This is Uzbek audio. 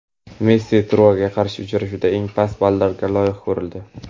Messi "Trua"ga qarshi uchrashuvda eng past ballga loyiq ko‘rildi.